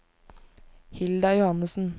Hilda Johannessen